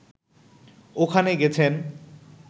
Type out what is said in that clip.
ওখানে গেছেন